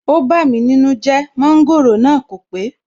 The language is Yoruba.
ó bámi nínú jẹ́, Mọ́ńgòrò náà kò pé